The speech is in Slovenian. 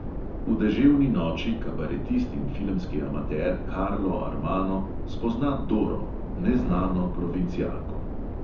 V deževni noči kabaretist in filmski amater karlo armano spozna doro, "neznano provincialko".